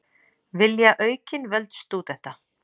Vilja aukin völd stúdenta